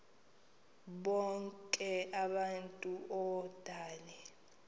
bonk abantu odale